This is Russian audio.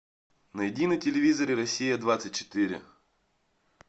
найди на телевизоре россия двадцать четыре